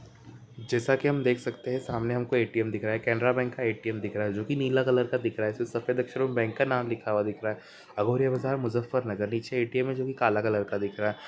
जैसा की हम देख सकते है सामने हमको ए.टी.एम. दिख रहा है कैनरा बैंक का ए.टी.एम. दिख रहा है जो कि नीला कलर का दिख रहा है इससे सफेद अक्षरों में बैंक का नाम लिखा हुआ दिख रहा है अघोरिया बाजार मुज़फ्फरनगर नीचे ए.टी.एम. है जो कि काला कलर का दिख रहा है।